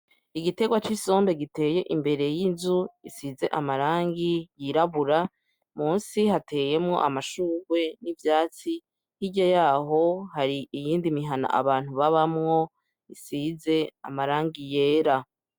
Igiterwa c’isombe giteye imbere y’inzu isize amarangi yirabura, munsi hateyemwo amashurwe n’ivyatsi. Hirya yaho hari iyindi mihana abantu babamwo isize amarangi y’era.